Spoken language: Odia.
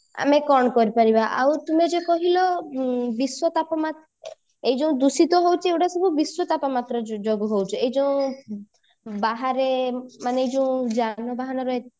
ଆମେ କଣ କରିପାରିବା ଆଉ ତୁମେ ଯୋଉ କହିଲ ବିଶ୍ଵ ତାପମାତ୍ରା ଏଇ ଯୋଉ ଦୂଷିତ ହଉଛି ଏଇଗୁଡା ସବୁ ବିଶ୍ଵ ତାପମାତ୍ରା ଯୋ ଯୋଗୁ ହଉଛି ଏଇ ଯୋଉ ବାହାରେ ମାନେ ଏଇ ଯୋଉ ଯାନବାହନରେ